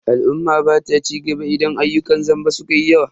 Al'umma bata cigaba idan ayyukan zamba sukayi yawa.